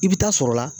I bɛ taa sɔrɔ la